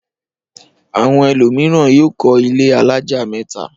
Àwọn ẹlòmíràn yóò kọ́ ilé alájà mẹ́ta.